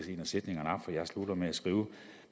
en af sætningerne op for jeg slutter med at skrive